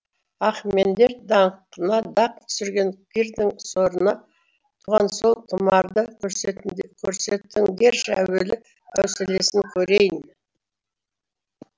ахемендер даңқына дақ түсірген кирдің сорына туған сол тұмарды көрсетіңдерші әуелі әуселесін көрейін